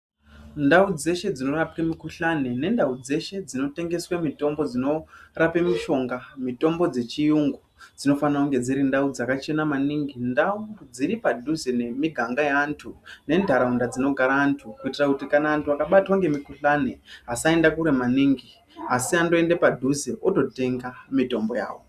Ndau dzeshe dzinorapwe mikhuhlani nendau dzeshe dzinotengeswe mitombo dzechiyungu dzinofanire kunge dziri ndau dzakachena maningi ndau dziri padhuze nemiganga yeantu nenharaunda dzinogare antu kuitira kuti kana vantu vakabatwa ngemukhuhlani vasaenda kure maningi asi vandoende padhuze vototenga mitombo yavo.